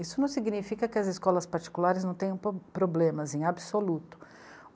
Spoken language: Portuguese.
Isso não significa que as escolas particulares não tenham problemas em absoluto.